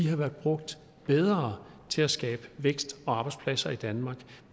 have været brugt bedre til at skabe vækst og arbejdspladser i danmark